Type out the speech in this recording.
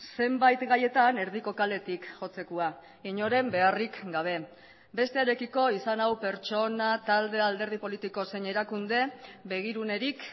zenbait gaietan erdiko kaletik jotzekoa inoren beharrik gabe bestearekiko izan hau pertsona talde alderdi politiko zein erakunde begirunerik